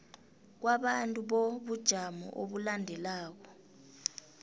kwabantu bobujamo obulandelako